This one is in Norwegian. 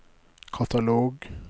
katalog